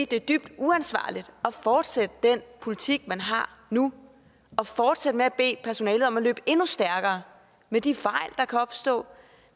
det er dybt uansvarligt at fortsætte den politik man har nu og fortsætte med at bede personalet om at løbe endnu stærkere med de fejl der kan opstå